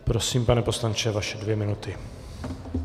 Prosím, pane poslanče, vaše dvě minuty.